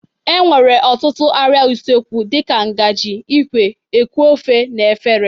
E nwere ọtụtụ arịa usekwu dị ka ngagị, ikwe, eku ofe na efere.